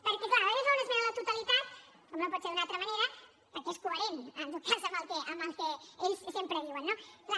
perquè clar el pp fa una esmena a la totalitat com no pot ser d’una altra manera perquè és coherent en tot cas amb el que ells sempre diuen no clar